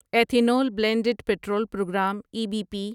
ethanol blended petrol programme E B P